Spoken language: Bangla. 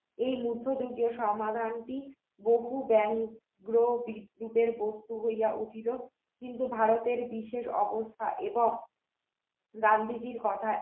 এই মুক্ত যুগের সমাধানটি বহু জ্ঞানী বহু বিক্রিত বস্তু হইয়া উঠল কিন্তু ভারতের বিশেষ অবস্থা এবং গান্ধীজীর কথায়